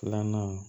Filanan